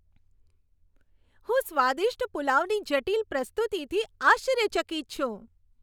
હું સ્વાદિષ્ટ પુલાવની જટિલ પ્રસ્તુતિથી આશ્ચર્યચકિત છું.